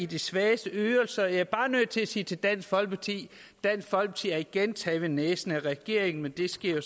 de svagestes ydelser jeg er bare nødt til at sige til dansk folkeparti dansk folkeparti er igen blevet taget ved næsen af regeringen men det sker